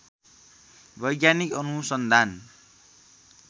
वैज्ञानिक अनुसन्धान